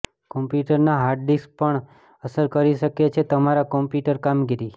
કોમ્પ્યુટરના hard disk પણ અસર કરી શકે છે તમારા કમ્પ્યુટર કામગીરી